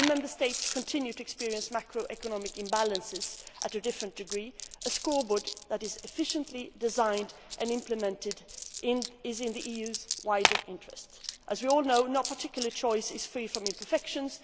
While Member States continue to experience macroeconomic imbalances to a different degree, a scoreboard that is efficiently designed and implemented is in the EU's wider interests. As we all know, no choice is free from imperfections